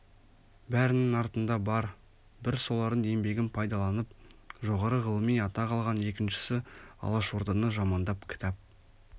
бәрінің артында бар бір солардың еңбегін пайдаланып жоғары ғылыми атақ алған екіншісі алашорданы жамандап кітап